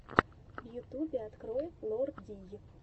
в ютюбе открой лор дий